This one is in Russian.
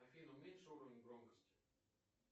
афина уменьши уровень громкости